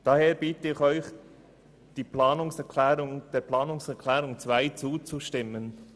Daher bitte ich Sie, dem Antrag 2 zuzustimmen.